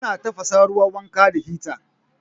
Ana tafasa ruwan wanka da hita